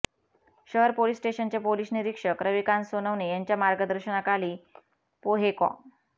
शहर पोलीस स्टेशनचे पोलीस निरीक्षक रविकांत सोनवणे यांच्या मार्गदर्शनाखाली पोहेकॉ